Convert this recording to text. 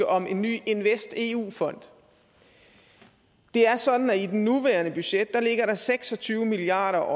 om en ny investeu fond det er sådan at i det nuværende budget ligger der seks og tyve milliard